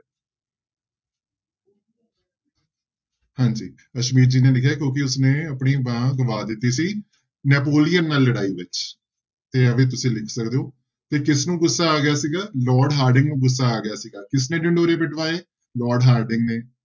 ਹਾਂਜੀ ਰਸਮੀਤ ਜੀ ਨੇ ਲਿਖਿਆ ਕਿਉਂਕਿ ਉਸਨੇ ਆਪਣੀਆਂ ਬਾਹਾਂ ਗਵਾ ਦਿੱਤੀਆਂ ਸੀ ਨੈਪੋਲੀਅਨ ਨਾਲ ਲੜਾਈ ਵਿੱਚ ਤੇ ਇਹ ਵੀ ਤੁਸੀਂ ਲਿਖ ਸਕਦੇ ਹੋ, ਤੇ ਕਿਸਨੂੰ ਗੁੱਸਾ ਆ ਗਿਆ ਸੀਗਾ? ਲਾਰਡ ਹਾਰਡਿੰਗ ਨੂੂੰ ਗੁੱਸਾ ਆ ਗਿਆ ਸੀਗਾ, ਕਿਸਨੇ ਢਿੰਡੋਰੇ ਪਿਟਵਾਏ? ਲਾਰਡ ਹਾਰਡਿੰਗ ਨੇ।